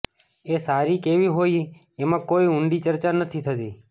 એ સારી કેવી હોય એમાં કોઇ ઉંડી ચર્ચા ન થતી